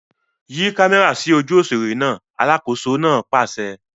Yí kámẹ́rà sójú òṣèré náà! Alákòóso náà pàṣẹ.